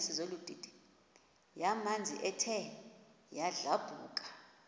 yamanzi ethe yadlabhuka